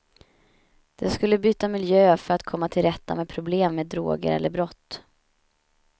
De skulle byta miljö för att komma till rätta med problem med droger eller brott.